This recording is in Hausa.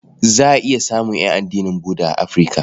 Za a iya samun ƴan addinin Budda a Afirka.